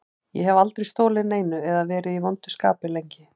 Ég hef aldrei stolið neinu eða verið í vondu skapi lengi.